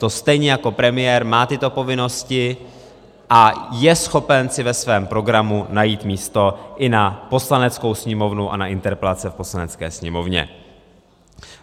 To stejně jako premiér má tyto povinnosti a je schopen si ve svém programu najít místo i na Poslaneckou sněmovnu a na interpelace v Poslanecké sněmovně.